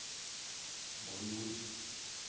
guyuni